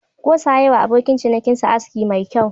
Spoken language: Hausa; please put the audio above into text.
Gosa ya yi wa abokin cinikinsa aski mai kyau.